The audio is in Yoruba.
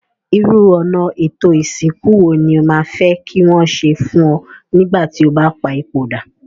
Irú ọ̀nà étò ìsìnkú wo ni o ma fe ki wón se fun o nígbà ti o ba pa ipòdà?